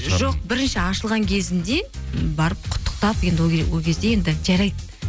жоқ бірінші ашылған кезінде барып құттықтап енді ол кезде енді жарайды